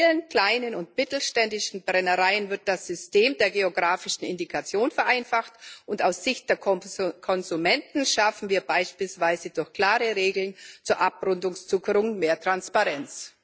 Für die vielen kleinen und mittelständischen Brennereien wird das System der geografischen Indikation vereinfacht, und aus Sicht der Konsumenten schaffen wir beispielsweise durch klare Regeln zur Abrundungszuckerung mehr Transparenz.